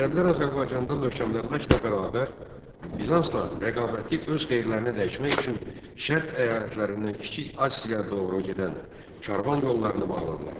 Ərəblər Azərbaycanda möhkəmlənməklə bərabər, Bizansla rəqabəti öz xeyirlərinə dəyişmək üçün Şərq əyalətlərindən Kiçik Asiyaya doğru gedən karvan yollarını bağladılar.